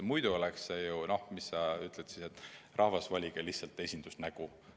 Muidu oleks ju nii, et rahvale öeldakse, et valige endale lihtsalt esindusnägu.